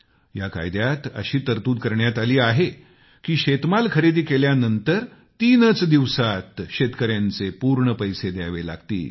या कायद्यात अशी तरतूद करण्यात आली आहे की शेतमाल खरेदी केल्यानंतर तीनच दिवसांत शेतकऱ्यांचे पूर्ण पैसे द्यावे लागतील